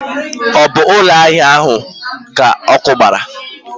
Ọ bụ ụlọ ahịa ahịa ka ọkụ gbara?